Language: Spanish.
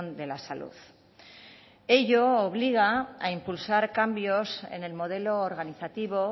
de la salud ello obliga a impulsar cambios en el modelo organizativo